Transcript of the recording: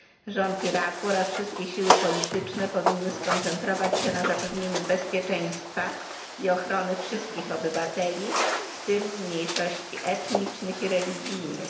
Rząd Iraku oraz wszystkie siły polityczne powinny skoncentrować się na zapewnieniu bezpieczeństwa i ochrony wszystkich obywateli, w tym mniejszości etnicznych i religijnych.